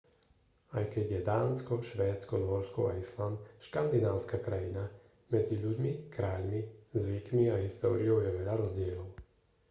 aj keď je dánsko švédsko nórsko a island škandinávska krajina medzi ľuďmi kráľmi zvykmi a históriou je veľa rozdielov